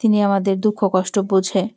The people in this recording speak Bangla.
তিনি আমাদের দুঃখ কষ্ট বোঝে।